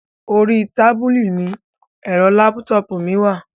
Orí tábìlì ní ẹ̀rọ lápútọpù mi wà.